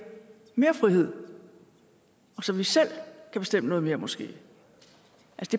mere frihed og så vi selv kan bestemme noget mere måske